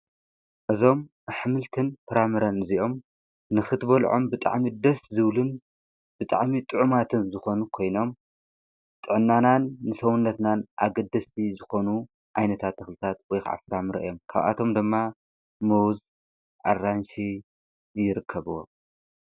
እዞም ኣኅምልትን ፍራምረ እዚኦም ንኽትበልዖም ብጣዕሚ ደስ ዝብልን ብጣዕሚ ጥዑማትን ዝኾኑ ኮይኖም ጠናናን ንሰዉነትናን ኣገድስቲ ዝኾኑ ኣይነታ ተኽልታት ወይኽዓፍራምረ እዮም ካብኣቶም ደማ መዉዝ ኣራንሽ ይርከብዎ።